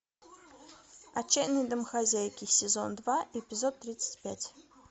отчаянные домохозяйки сезон два эпизод тридцать пять